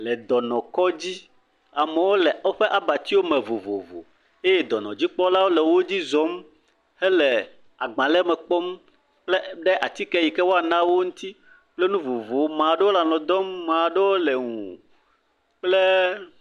Le dɔnɔkɔdzi, amewo le woƒe abatiwo me vovovo eye dɔnɔdzikpɔlawo le wo dzi zɔm hele agbalẽ me kpɔm kple ɖe atike yike woana wo ŋuti, kple nu vovovowo, amea ɖewo le alɔ dɔm, mea ɖewo le ŋu kple…